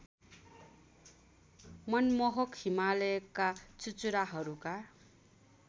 मनमोहक हिमालयका चुचुराहरूका